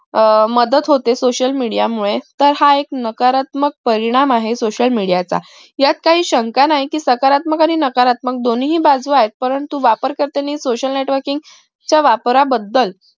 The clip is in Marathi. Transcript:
अह मदत होते social media मुळे तर हा एक नकारात्मक परिणाम आहे social media चा यात काही शंका नाही कि सकारात्मक आणि नाकारतमक दोन्ही बाजू वापर करताना social networking चा वापरा बदल